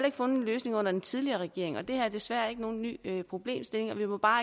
ikke fundet en løsning under den tidligere regering det her er desværre ikke nogen ny problemstilling og vi må bare